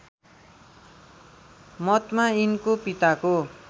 मतमा यिनको पिताको